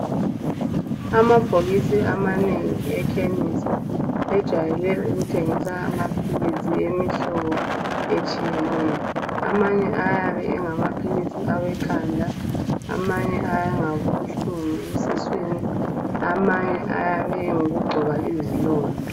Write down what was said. Amabhokisi amanengi ekhemisi ajayelele ukuthengisa amaphilizi emihlobo etshiyeneyo. Amanye ayabe engamaphilisi awekhanda, amanye engawobuhlungu esiswini, amanye ayabe ngawokugcoba izilonda